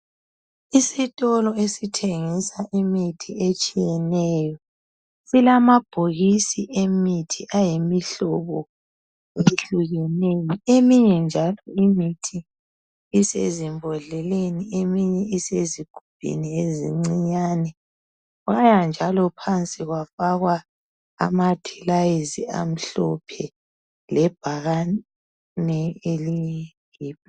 Isitolo esithengisa imithi etshiyeneyo silamabhokisi emithi ayimihlobo ehlukeneyo eminye njalo imithi isezimbodleleni eminye isezigubhini ezincinyane kwaya njalo phansi kwafaka amathilayizi amhlophe. Lebhakane eliyib